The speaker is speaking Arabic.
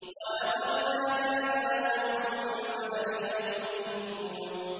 وَلَقَدْ نَادَانَا نُوحٌ فَلَنِعْمَ الْمُجِيبُونَ